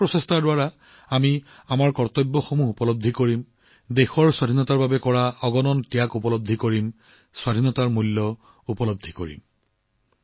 এই প্ৰচেষ্টাৰে আমি আমাৰ কৰ্তব্য উপলব্ধি কৰিম দেশৰ স্বাধীনতাৰ বাবে কৰা অগণন ত্যাগৰ আমি উপলব্ধি কৰিম স্বাধীনতাৰ মূল্য উপলব্ধি কৰিম